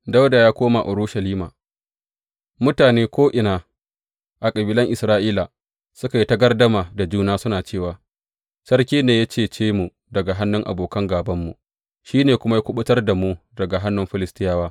Dawuda ya Koma Urushalima Mutane ko’ina a kabilan Isra’ila, suka yi ta gardama da juna, suna cewa, Sarki ne ya cece mu daga hannun abokan gābanmu, shi ne kuma ya kuɓutar da mu daga hannun Filistiyawa.